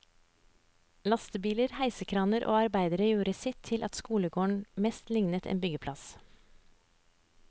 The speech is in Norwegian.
Lastebiler, heisekraner og arbeidere gjorde sitt til at skolegården mest lignet en byggeplass.